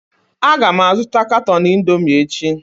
Aga m azụta katọn Indomi echi